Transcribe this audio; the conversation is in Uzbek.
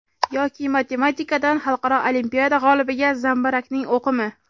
Yoki matematikadan xalqaro olimpiada g‘olibiga zambarakning o‘qimi?